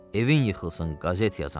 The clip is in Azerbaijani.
Evin yıxılsın qəzet yazan.